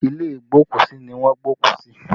Ilé igbokusi ni wọ́n gbé òkú sí